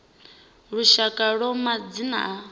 ya lushaka ya madzina a